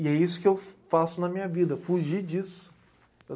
E é isso que eu faço na minha vida, fugir disso.